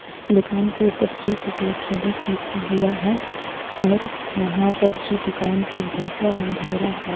दुकान के ऊपर श्री शुक्ला ट्रेडर्स लिखा हुआ है और वहां पर जो दूकान के भीतर अंधेरा है.